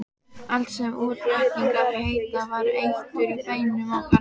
Allt sem útréttingar heita var eitur í beinum okkar.